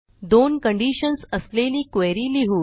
दोन कंडिशन्स असलेली क्वेरी लिहू